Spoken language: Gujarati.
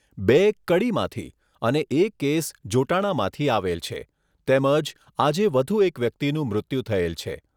બે કડીમાંથી અને એક કેસ જોટાણામાંથી આવેલ છે તેમજ આજે વધુ એક વ્યક્તિનું મૃત્યુ થયેલ છે.